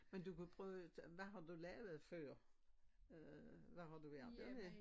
Men du kan prøve hvad har du lavet før? Øh hvad har du værka med?